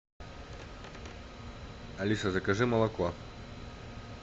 алиса закажи молоко